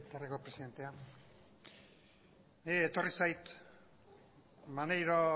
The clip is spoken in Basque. legebiltzarreko presidente niri etorri zait maneiro